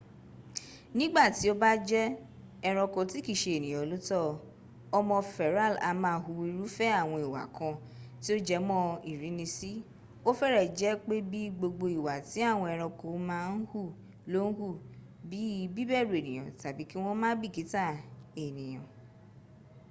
nígbàtí ó bá jẹ́ ẹrànko tí kìí ṣe ènìyàn lo tọ́ ọ ọmọ-feral a máa hu irúfẹ́ àwọn ìwà kan tí ó jẹ́ mọ ìrínisíó fẹ́rẹ̀ jẹ́ pé bí gbogbo ìwà tí àwọn ẹranko náà ń hu ló ń hù bí í bíbèrù ènìyàn tàbí kí wọ́n má bìkítà ènìyà